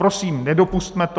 Prosím, nedopusťme to!